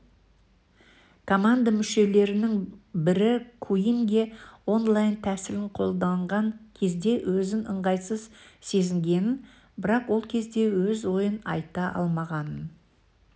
команда мүшелерінің бірі куинге онлайн тәсілін қолданған кезде өзін ыңғайсыз сезінгенін бірақ ол кезде өз ойын айта алмағанын